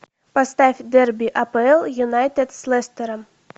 поставь дерби апл юнайтед с лестером